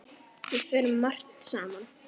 Við fórum margt saman.